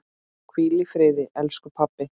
Hvíl í friði, elsku pabbi.